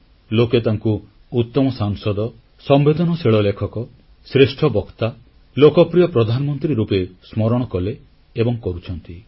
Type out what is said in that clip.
ଲୋକେ ତାଙ୍କୁ ଉତ୍ତମ ସାଂସଦ ସମ୍ବେଦନଶୀଳ ଲେଖକ ଶ୍ରେଷ୍ଠ ବକ୍ତା ଲୋକପ୍ରିୟ ପ୍ରଧାନମନ୍ତ୍ରୀ ରୂପେ ସ୍ମରଣ କଲେ ଏବଂ କରୁଛନ୍ତି